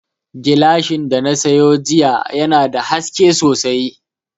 Gilashin da na sayo jiya yana da haske sosai